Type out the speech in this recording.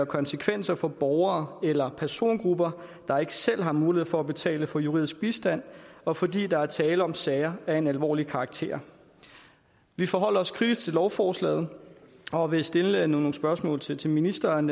konsekvenser for borgere eller persongrupper der ikke selv har mulighed for at betale for juridisk bistand og fordi der er tale om sager af en alvorlig karakter vi forholder os kritisk til lovforslaget og vil stille nogle spørgsmål til til ministeren